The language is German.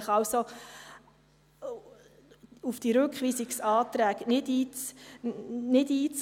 Ich bitte Sie also, auf die Rückweisungsanträge nicht einzugehen.